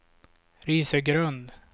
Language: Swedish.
Risögrund